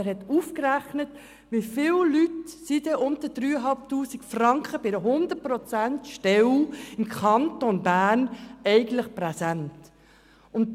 Er hat ausgerechnet, wie viele Leute mit unter 3500 Franken bei einer 100-Prozent-Stelle im Kanton Bern eigentlich präsent sind.